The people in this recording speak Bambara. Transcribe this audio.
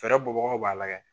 Fɛɛrɛ bɔ bagaw b'a lajɛ.